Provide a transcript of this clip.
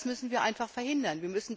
Das müssen wir einfach verhindern.